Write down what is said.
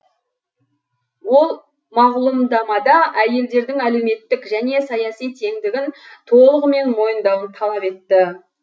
ол мағлұмдамада әйелдердің әлеуметтік және саяси теңдігін толығымен мойындауын талап етті